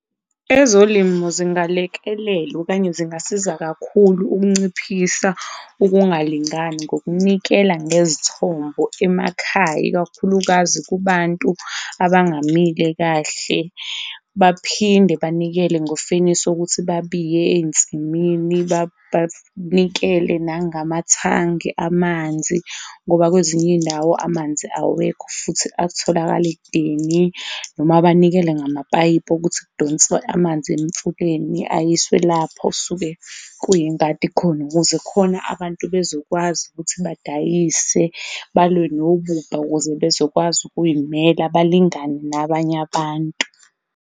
Ezolimo zingalekelela okanye zingasiza kakhulu ukunciphisa ukungalingani ngokunikela ngezithombo emakhaya, ikakhulukazi kubantu abangamile kahle, baphinde banikele ngofenisa ukuthi babiye eyinsimini, banikele nangamathangi amanzi ngoba kwezinye iyindawo amanzi awekho futhi atholakala ekudeni noma banikele ngamapayipi okuthi kudonswe amanzi emfuleni ayiswe lapho osuke kuyingadi khona ukuze khona abantu bezokwazi ukuthi badayise, balwe nobubha ukuze bezokwazi ukuyimela balingane nabanye abantu.